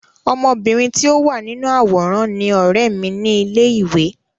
Ọmọbìnrin tí ó wà nínú àwòrán ni ọ̀rẹ́ mi ní ilé ìwé.